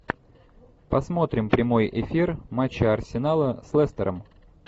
посмотрим прямой эфир матча арсенала с лестером